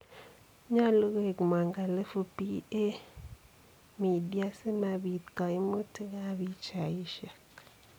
Nyoluu koek mwangalifu PA Media simapiit koimuutik ab pichaisiek.